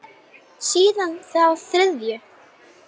Síðan þá þriðju.